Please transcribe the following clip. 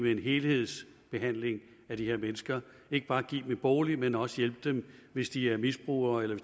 en helhedsbehandling af de her mennesker ikke bare give dem en bolig men også hjælpe dem hvis de er misbrugere eller